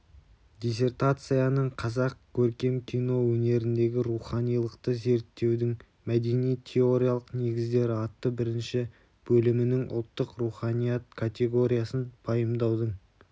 диссертацияның қазақ көркем кино өнеріндегі руханилықты зерттеудің мәдени-теориялық негіздері атты бірінші бөлімінің ұлттық руханият категориясын пайымдаудың